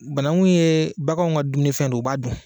Banangun ye baganw ka dumuni fɛn don u b'a don